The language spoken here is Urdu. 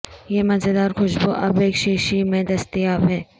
یہ مزیدار خوشبو اب ایک شیشی میں دستیاب ہے